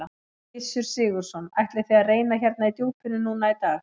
Gissur Sigurðsson: Ætlið þið að reyna hérna í djúpinu núna í dag?